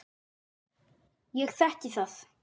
Ég þekki það.